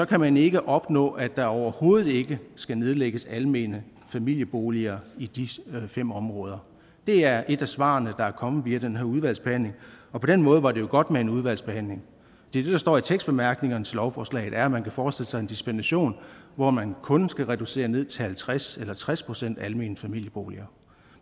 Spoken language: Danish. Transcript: kan man ikke opnå at der overhovedet ikke skal nedlægges almene familieboliger i de seks områder det er et af svarene der er kommet via den her udvalgsbehandling og på den måde var det jo godt med en udvalgsbehandling det der står i tekstbemærkningerne til lovforslaget er at man kan forestille sig en dispensation hvor man kun skal være reduceret ned til halvtreds eller tres procent almene familieboliger